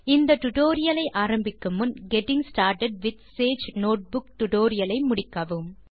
இந்த டியூட்டோரியல் ஐ ஆரம்பிக்கும் முன் getting started with Sage notebook டுடோரியலை முடியுங்கள்